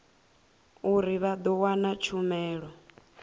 uri vha ḓo wana tshumelo